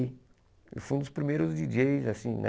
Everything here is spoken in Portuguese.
Eu fui um dos primeiros díi djêis, assim, né?